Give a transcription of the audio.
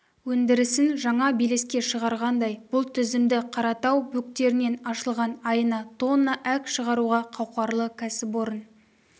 өндірісін жаңа белеске шығарғандай бұл тізімді қаратау бөктерінен ашылған айына тонна әк шығаруға қауқарлы кәсіпорын